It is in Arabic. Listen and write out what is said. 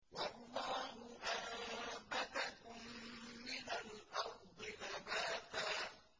وَاللَّهُ أَنبَتَكُم مِّنَ الْأَرْضِ نَبَاتًا